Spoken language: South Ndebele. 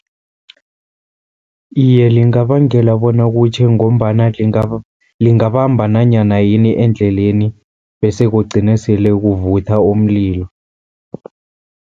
Iye, lingabangela bona kutjhe, ngombana lingabamba nanyana yini endleleni, bese kugcine sele kuvutha umlilo.